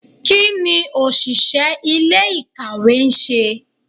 kiní oṣiṣẹ ilé-ikáwe nṣe?